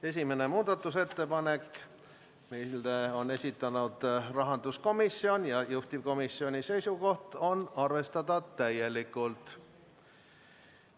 Esimene muudatusettepanek, mille on esitanud rahanduskomisjon, juhtivkomisjoni seisukoht on arvestada täielikult.